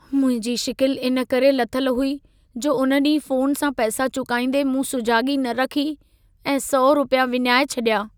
मुंहिंजी शिकिल इन करे लथल हुई जो उन ॾींहुं फ़ोन सां पैसा चुकाईंदे मूं सुॼागी न रखी ऐं 100 रुपिया विञाए छॾिया।